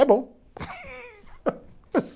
É bom.